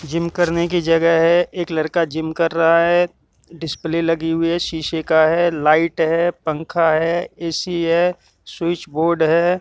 Gym करने की जगह है एक लड़का जिम कर रहा है डिस्प्ले लगी हुई है शीशे का है लाइट है पंखा है ए_सी है स्विच बोर्ड है।